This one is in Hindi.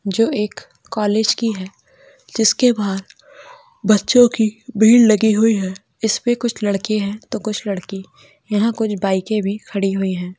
जो एक कॉलेज की है जिसके बाहर बच्चों की भीड़ लगी हुई है इसमें कुछ लड़के है तो कुछ लड़किया यहां कुछ बाइके भी खड़ी है।